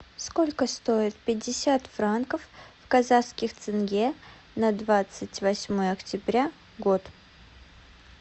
сколько стоит пятьдесят франков в казахских тенге на двадцать восьмое октября год